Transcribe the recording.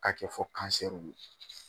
Ka kɛ fɔ ye